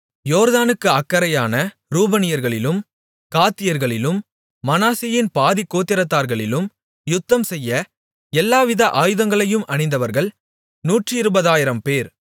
யோர்தானுக்கு அக்கரையான ரூபனியர்களிலும் காத்தியர்களிலும் மனாசேயின் பாதிக்கோத்திரத்தார்களிலும் யுத்தம்செய்ய எல்லாவித ஆயுதங்களையும் அணிந்தவர்கள் நூற்றிருபதாயிரம்பேர்